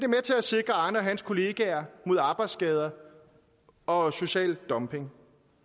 med til at sikre arne og hans kollegaer mod arbejdsskader og social dumping